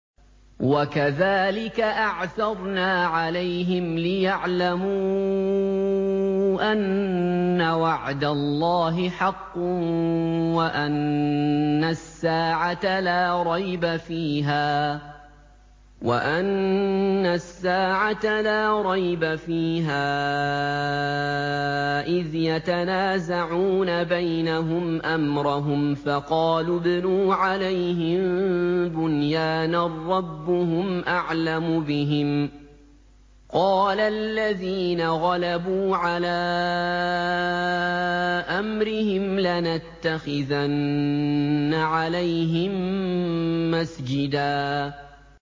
وَكَذَٰلِكَ أَعْثَرْنَا عَلَيْهِمْ لِيَعْلَمُوا أَنَّ وَعْدَ اللَّهِ حَقٌّ وَأَنَّ السَّاعَةَ لَا رَيْبَ فِيهَا إِذْ يَتَنَازَعُونَ بَيْنَهُمْ أَمْرَهُمْ ۖ فَقَالُوا ابْنُوا عَلَيْهِم بُنْيَانًا ۖ رَّبُّهُمْ أَعْلَمُ بِهِمْ ۚ قَالَ الَّذِينَ غَلَبُوا عَلَىٰ أَمْرِهِمْ لَنَتَّخِذَنَّ عَلَيْهِم مَّسْجِدًا